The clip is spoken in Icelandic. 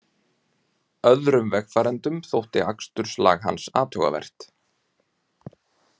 Öðrum vegfarendum þótti aksturslag hans athugavert